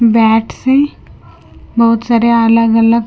bats है बहुत सारे अलग अलग--